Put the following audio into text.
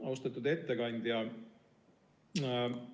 Austatud ettekandja!